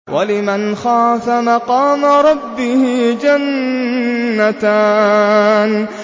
وَلِمَنْ خَافَ مَقَامَ رَبِّهِ جَنَّتَانِ